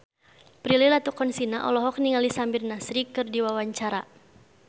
Prilly Latuconsina olohok ningali Samir Nasri keur diwawancara